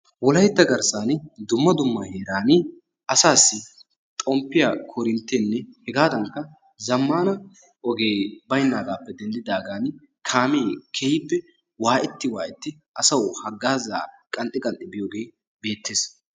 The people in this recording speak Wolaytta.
Wolaytta garssan dumma dumma heeran asaassi xomppiya koorinttenne hegaadankka zammaana ogee baynnaagaappe denddidaagan kaamee keehippe waayetti waayetti asawu haggaazaa qanxxi qanxxi biyooge beettees.